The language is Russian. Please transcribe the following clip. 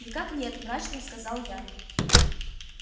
никак нет мрачно сказал я